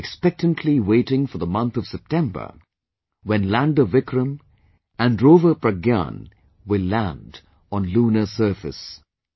We are now expectantly waiting for the month of September, when Lander Vikram & Rover Pragyan will land on Lunar surface